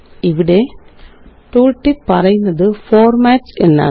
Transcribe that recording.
ഇവിടെ ടൂള്ടിപ്പ് പറയുന്നത് ഫോർമാറ്റ്സ് എന്നാണ്